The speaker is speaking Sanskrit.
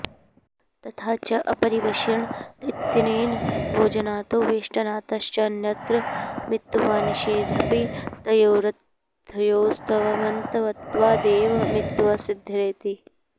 तथा च अपरिवेषण इत्यनेन भोजनातो वेष्टनातश्चान्यत्र मित्त्वनिषेधेऽपि तयोरर्थयोस्त्वमन्तत्वादेव मित्त्वसिद्धेरिति